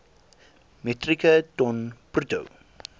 metrieke ton bruto